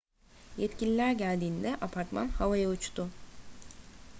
yetkililer geldiğinde apartman havaya uçtu